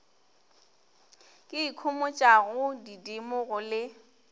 ke ikhomotšang didimo go le